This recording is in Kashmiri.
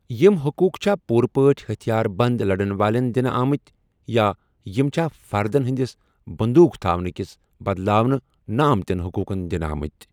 یِم حقوٗق چھا پوٗرٕ پٲٹھۍ ہتھیار بند لَڑن والین دِنہٕ آمٕتۍ، یا یِم چھا فردن ہدِس بندوٗق تھونہٕ كِس بدلاونہٕ نہٕ آمتِین حقوٗقن دِنہٕ آمٕتۍ؟